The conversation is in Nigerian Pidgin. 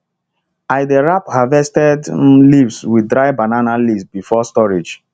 i i dey wrap harvested um leaves with dry banana leaves before storage